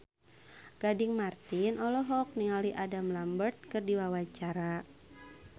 Gading Marten olohok ningali Adam Lambert keur diwawancara